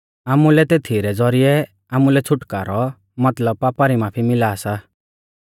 आमुलै तेथी रै ज़ौरिऐ आमुलै छ़ुटकारौ मतलब पापा री माफी मिला सा